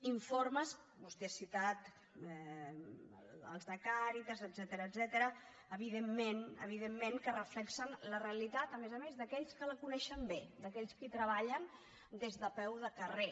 informes vostè ha citat els de càritas etcètera evidentment que reflecteixen la realitat a més a més d’a quells que la coneixen bé d’aquells que hi treballen des de peu de carrer